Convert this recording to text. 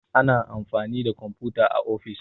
ana amfani da kwamfuta a ofis